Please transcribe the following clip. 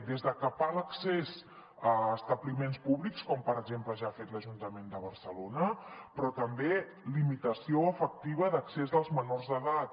des de capar l’accés a establiments públics com per exemple ja ha fet l’ajuntament de barcelona però també limitació efectiva d’accés dels menors d’edat